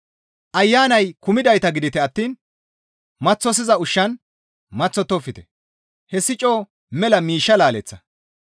Ayanay kumidayta gidite attiin maththosiza ushshan maththottofte; hessi coo mela miishsha laaleththa.